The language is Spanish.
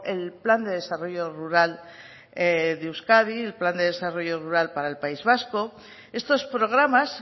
el plan de desarrollo rural de euskadi el plan de desarrollo rural para el país vasco estos programas